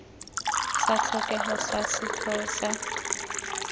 sa tlhokego sa setheo sa